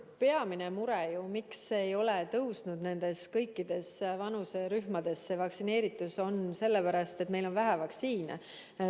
Peamine põhjus, miks ei ole kõikides vanuserühmades vaktsineeritus kasvanud, on see, et meil on vähe vaktsiine.